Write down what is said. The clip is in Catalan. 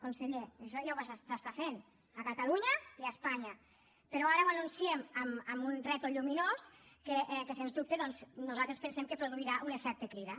conseller això ja s’està fent a catalunya i a espanya però ara ho anunciem amb un rètol lluminós que sens dubte doncs nosaltres pensem que produirà un efecte crida